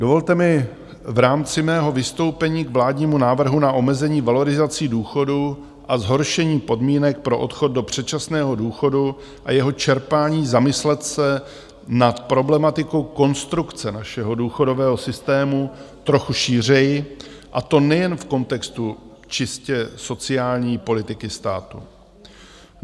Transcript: Dovolte mi v rámci mého vystoupení k vládnímu návrhu na omezení valorizací důchodů a zhoršení podmínek pro odchod do předčasného důchodu a jeho čerpání zamyslet se nad problematikou konstrukce našeho důchodového systému trochu šířeji, a to nejen v kontextu čistě sociální politiky státu.